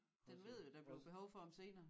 Den ved jo der bliver behov for dem senere